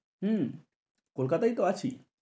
হম কলকাতায় তো আছি।